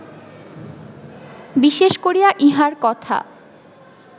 বিশেষ করিয়া ইঁহার কথা